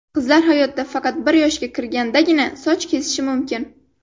Qizlar hayotida faqat bir yoshga kirgandagina soch kesishi mumkin.